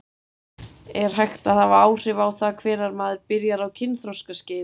Er hægt að hafa áhrif á það hvenær maður byrjar á kynþroskaskeiðinu?